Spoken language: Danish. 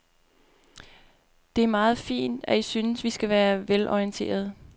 Det er meget fint, at I synes, vi skal være velorienterede.